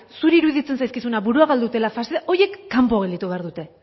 zuri iruditzen zaizkizunak burua galdu dutela faxistak horiek kanpo gelditu behar dute